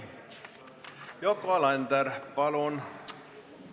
Yoko Alender, palun!